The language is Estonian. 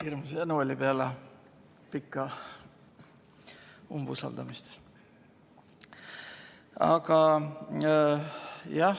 Hirmus janu oli peale pikka umbusaldamist.